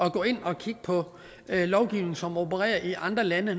at gå ind og kigge på lovgivning som opererer i andre lande